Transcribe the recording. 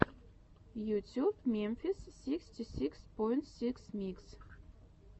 ютюб мемфис сиксти сикс поинт сикс микс